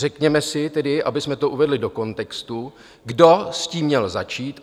Řekněme si tedy, abychom to uvedli do kontextu, kdo s tím měl začít.